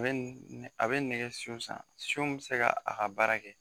A bɛ nɛ a bɛ nɛgɛ san bɛ se ka a ka baara kɛ.